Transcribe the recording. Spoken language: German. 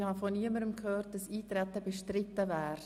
Ich habe von niemandem gehört, dass Eintreten bestritten würde.